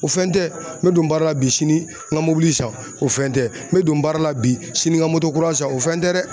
O fɛn tɛ n bɛ don baara la bi sini n ka mɔbili san o fɛn tɛ, n bɛ don baara la bi sini ka moto kura san o fɛn tɛ dɛ.